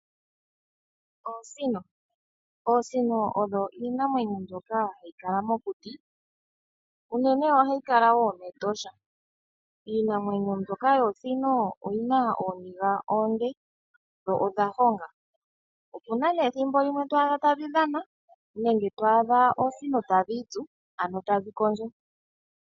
Oosino, oosino odho iinamwenyo mbyoka hayi kala mokuti, uunene ohayi kala wo mEtosha. Iinamwenyo mbyoka yoosino oyina ooniga oonde dho odha honga. Opuna ne ethimbo limwe to adha tadhi dhana nenge to adha oosino tadhi itsu ano tadhi kondjo.